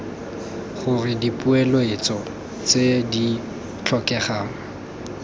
gore dipoeletso tse di tlhokegang